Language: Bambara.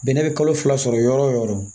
Bɛnɛ bɛ kalo fila sɔrɔ yɔrɔ o yɔrɔ